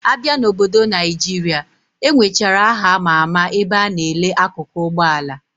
Abia na obodo Naijira, enwechara aha ama ama ebe ana ele akụkụ Ụgbọ ala